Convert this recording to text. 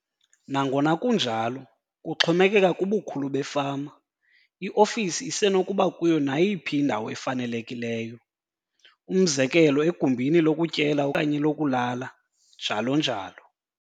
Nangona kunjalo, kuxhomekeka kubukhulu befama, iofisi isenokuba kuyo nayiphi indawo efanelekileyo, umzekelo egumbini lokutyela okanye lokulala, njalo njalo.